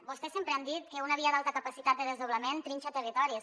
vostès sempre han dit que una via d’alta capacitat de desdoblament trinxa territoris